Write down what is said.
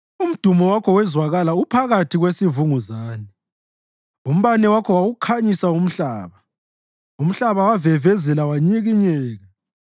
Umdumo wakho wezwakala uphakathi kwesivunguzane, umbane wakho wawukhanyisa umhlaba; umhlaba wavevezela wanyikinyeka.